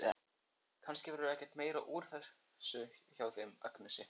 Kannski verður ekkert meira úr þessu hjá þeim Agnesi.